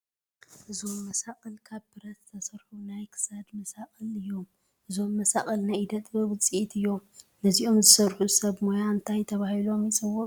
እዞም መሳቕል ካብ ብረት ዝተሰርሑ ናይ ክሳድ መሳቕል እዮም፡፡ እዞም መሳቕል ናይ ኢደ ጥበብ ውፅኢት እዮም፡፡ ነዚኦም ዝሰርሑ ሰብ ሞያ እንታይ ተባሂሎም ይፅውዑ?